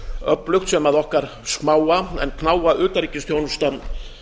öflugt sem okkar smáa en knáa utanríkisþjónusta